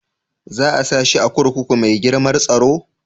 Za a sa shi a kurkuku mai girmar tsaro?